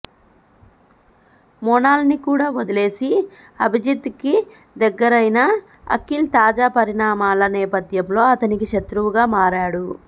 మోనాల్ ని కూడా వదిలేసి అభిజిత్ కి దగ్గరైన అఖిల్ తాజా పరిణామాల నేపథ్యంలో అతనికి శత్రువుగా మారాడు